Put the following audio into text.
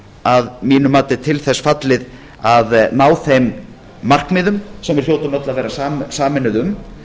að mínu mati til þess fallið að þeim markmiðum sem við hljótum öll að vera sameinuð um